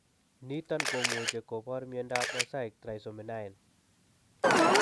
Niton komuche kopor miondap mosaic trisomy 9.